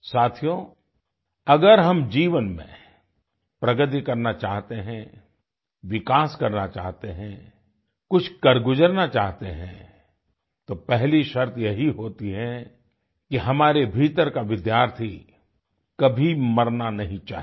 साथियो अगर हम जीवन में प्रगति करना चाहते हैं विकास करना चाहते हैं कुछ कर गुजरना चाहते हैं तो पहली शर्त यही होती है कि हमारे भीतर का विद्यार्थी कभी मरना नहीं चाहिए